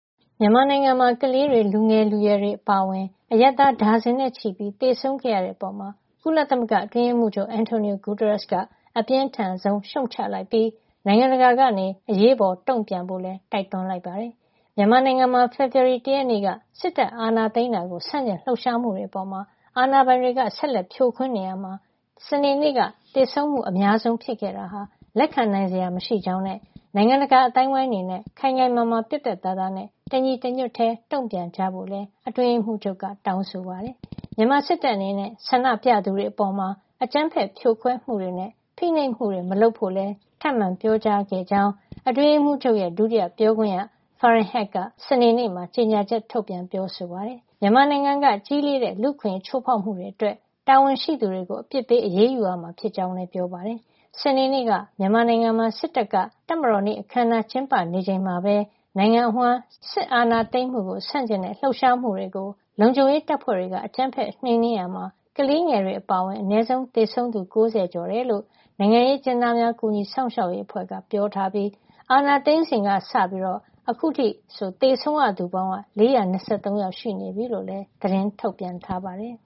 မြန်မာနိုင်ငံမှာ ကလေးတွေ၊ လူငယ်လူရွယ်တွေ အပါအဝင် အရပ်သား ဒါဇင်နဲ့ချီ သေဆုံးခဲ့ရတဲ့အပေါ် ကုလသမဂ္ဂအတွင်းရေးမှူးချုပ် Antonio Guterres က အပြင်းထန်ဆုံးရှုတ်ချလိုက်ပြီး နိုင်ငံတကာက အရေးပေါ် တုံ့ပြန်ဖို့လည်း တိုက်တွန်းလိုက်ပါတယ်။ မြန်မာနိုင်ငံမှာ ဖေဖော်ဝါရီလ ၁ ရက်နေ့က စစ်အာဏာသိမ်းတာကို ဆန့်ကျင်လှုပ်ရှားမှုတွေအပေါ် အာဏာပိုင်တွေ ဆက်လက် ဖြိုခွင်းနေရာမှာ စနေနေ့က သေဆုံးမှုအများဆုံး ဖြစ်ခဲ့တာဟာ လက်ခံနိုင်စရာ မရှိကြောင်းနဲ့ နိုင်ငံတကာ အသိုင်းအဝန်းအနေနဲ့ ခိုင်ခိုင်မာမာပြတ်ပြတ်သားသားနဲ့ တညီတညွတ်တည်း တုံ့ပြန်ကြဖို့လည်း အတွင်းရေးမှူးချုပ်က တောင်းဆိုခဲ့ပါတယ်။ မြန်မာစစ်တပ် အနေနဲ့ ဆန္ဒပြသူတွေအပေါ် အကြမ်းဖက်ဖြိုခွဲမှုတွေနဲ့ ဖိနှိပ်မှုတွေမလုပ်ဖို့လည်း ထပ်မံပြောကြားခဲ့ကြောင်း အတွင်းရေးမှူးချုပ်ရဲ့ ဒုတိယပြောခွင့်ရ Farhan Haq က စနေနေ့မှာ ကြေညာချက် ထုတ်ပြန်ခဲ့တာပါ။ မြန်မာနိုင်ငံက ကြီးလေးတဲ့ လူ့အခွင့်အရေး ချိုးဖောက်မှုတွေအတွက် တာဝန်ရှိသူတွေကို အပြစ်ပေး အရေးယူရမှာ ဖြစ်ကြောင်းလည်း ပြောဆိုခဲ့ပါတယ်။ စနေနေ့က မြန်မာနိုင်ငံမှာ စစ်တပ်က တပ်မတော်နေ့ အခမ်းအနားတွေ ကျင်းပနေချိန်မှာပဲ နိုင်ငံအဝန်း စစ်အာဏာသိမ်းမှု ဆန့်ကျင်တဲ့ လှုပ်ရှားမှုတွေကို လုံခြုံရေးတပ်ဖွဲ့တွေ အကြမ်းဖက် နှိမ်နင်းရာက ကလေးငယ်တွေ အပါအဝင် သေဆုံးသူ အနည်းဆုံး ၉၀ ကျော် ရှိခဲ့ကြောင်း နိုင်ငံရေး အကျဉ်းသားများ ကူညီစောင့်ရှောက်ရေးအသင်း AAPP က ပြောဆိုထားပြီး၊ အာဏာသိမ်းစဉ်ကစလို့ သေဆုံးသူ စုစုပေါင်း ၄၂၃ ယောက် ရှိနေပြီလို့လည်း သတင်းထုတ်ပြန်ထားပါတယ်